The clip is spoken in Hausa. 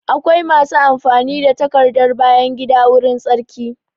Akwai masu amfani da takardar bayan gida wurin tsarki